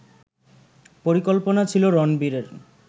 পরিকল্পনা ছিল রণবীরের